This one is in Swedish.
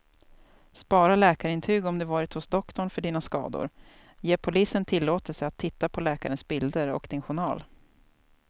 Spara läkarintyg om du varit hos doktorn för dina skador, ge polisen tillåtelse att titta på läkarens bilder och din journal.